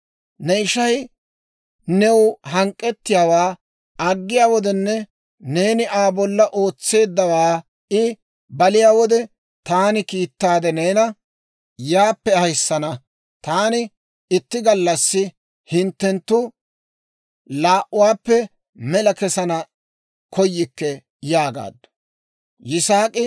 Ne ishay new hank'k'ettiyaawaa aggiyaa wodenne, neeni Aa bolla ootseeddawaa I dogiyaa wode, taani kiittaade neena yaappe ahissana. Taani itti gallassi hinttenttu laa"uwaappe mela kessana koyikke» yaagaaddu.